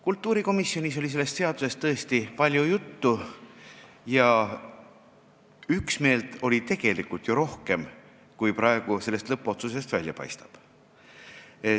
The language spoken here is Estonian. Kultuurikomisjonis oli sellest seadusest tõesti palju juttu ja üksmeelt oli tegelikult rohkem, kui praegu lõppotsusest välja paistab.